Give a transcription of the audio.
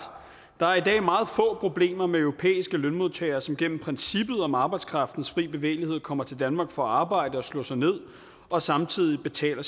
der er i dag meget få problemer med europæiske lønmodtagere som gennem princippet om arbejdskraftens frie bevægelighed kommer til danmark for at arbejde og slå sig ned og samtidig betaler